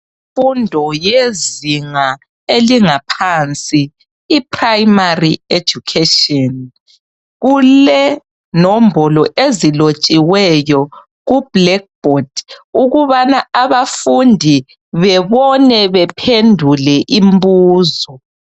Umfundo yezinga elingaphansi, iprimary education, kulenombolo ezilotshiweyo ku black board ukubana abafundi bebone bephendule imbuzo.